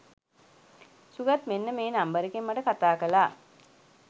සුගත් මෙන්න මේ නම්බර් එකෙන් මට කතා කළා.